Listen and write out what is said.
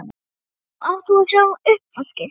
Nú já, átt þú að sjá um uppvaskið?